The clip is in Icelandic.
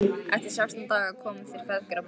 Eftir sextán daga komu þeir feðgar að borgarmúrum